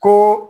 Ko